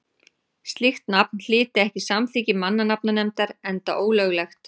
slíkt nafn hlyti ekki samþykki mannanafnanefndar enda ólöglegt